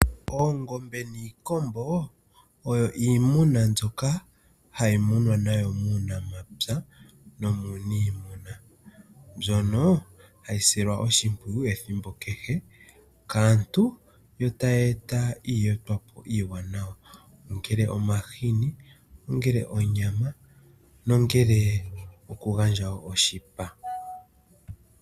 Oongombe niikombo oyo iimuna mbyoka hayi munwa nayo muunamapya nomuuniimuna mbyono hayi silwa oshimpwiyu ethimbo kehe kaantu yo tayi eta iiyetwapo iiwanawa, ongele omahini, ongele onyama nongele okugandja wo oshipa.